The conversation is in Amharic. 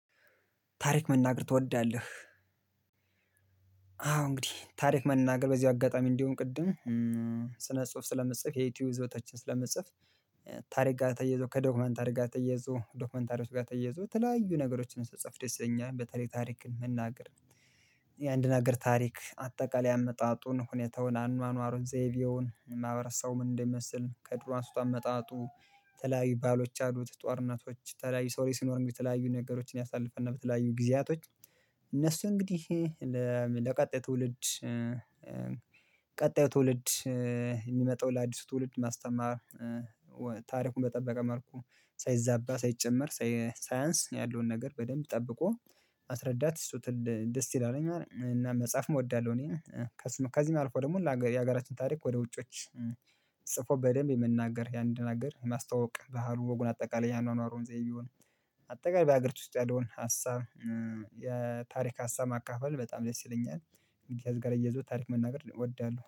ታሪክ መናገር ትወዳለህ? አዎ እንግዲህ፤ ታሪክ መናገር በዚሁ አጋጣሚ እንዲሆን ቅድም ስነ ጽሁፍ ስለምጽፍ የዩቲዩብ ይዞታዎችን ስለምጽፍ ታሪክ ጋር ተያይዞ ከዶክመንተሪ ጋር ተያይዞ ዶክመንታሪዎች ጋር ተያይዞ ተለያዩ ነገሮች ስጽፍ ደስ ይለኛል። በተለይ ታሪክን መናገር የአንድ ነገር ታሪክ አጠቃላይ አመጣጡን፣ ሁኔታውን፣ አኗኗሩን፣ ዘይቤውን፣ የማሕበረሳቡ ምን እንደሚመስል፣ ከድሮ አንስቶ አመጣጡ የተለያዩ ባህሎች አሉት። ጦርነቶች የተለያዩ የሰው ልጅ ሲኖር እንግዲህ የተለያዩ ነገሮችን ያሳልፋል እና በተለያዩ ጊዜያቶች እነሱ እንግዲህ ለቀጣይ ትውልድ ቀጣዩ ትውልድ የሚመጣው ለአዲሱ ትውልድ ማስተማር ታሪኩን በጠበቀ መልኩ ሳይዛባ ሳይጨመር ሳይ ሳይንስ ያለውን ነገር በደንብ ጠብቆ ማስረዳት እሱ ትል ደስ ይላል እና መጻፍም እወዳለሁ እኔ፤ ከዚህም አልፎ ደግሞ ለሃገ የሀገራችን ታሪክ ወደ ውጮች ጽፎ በደንብ የምንናገር የአንድ ሀገር ማስታወውቅ ባህሉ ወጉን አጠቃላይ የአኗኗሩን ዘይቤውን ቢሆን አጠቃላይ በሀገር ውስጥ ያለውን ሀሳብ የታሪክ ሀሳብ ማካፈል በጣም ደስ ይለኛል። እንግዲህ ከዚህ ጋር አያይዞ ታሪክ መናገር እወዳለሁ።